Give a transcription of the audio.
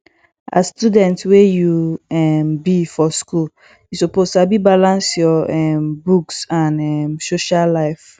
as student wey you um be for school you suppose sabi balance your um books and um social life